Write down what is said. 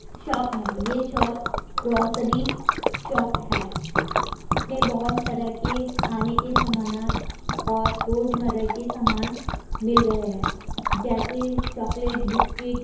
Shop है। ये shop grocery shop है। इसमें बहुत तरह के खाने के समानात और रोज़मररा के सामान मिल रहे हैं जैसे चाकलेट बिस्किट ।